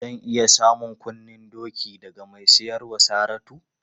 Zan iya samun kunnen doki daga mai siyar wa Saratu?